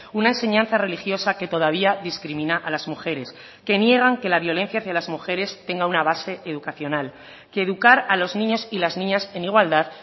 una enseñanza religiosa que todavía discrimina a las mujeres que niegan que la violencia hacia las mujeres tenga una base educacional que educar a los niños y las niñas en igualdad